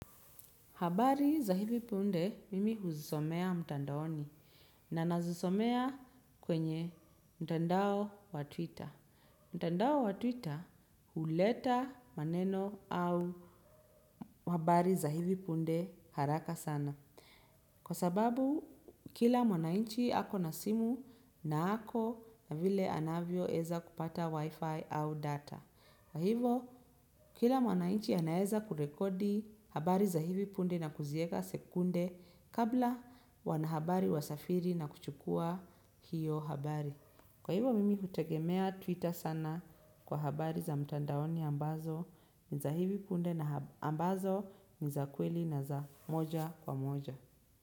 Habari za hivi punde mimi huzisomea mtandaoni na nazisomea kwenye mtandao wa Twitter. Mtandao wa Twitter huleta maneno au habari za hivi punde haraka sana. Kwa sababu kila mwanainchi ako na simu na ako na vile anavyoeza kupata wifi au data. Kwa hivo kila mwanainchi anaeza kurekodi habari za hivi punde na kuzieka sekunde kabla wanahabari wasafiri na kuchukua hiyo habari. Kwa hivo mimi hutegemea Twitter sana kwa habari za mtandaoni ambazo ni za hivi punde na ambazo ni za kweli na za moja kwa moja.